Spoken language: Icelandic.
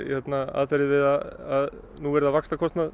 aðferðir við að núvirða vaxtakostnað